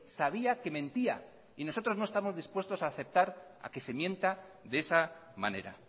sabía que mentía y nosotros no estamos dispuestos a aceptar a que se mienta de esa manera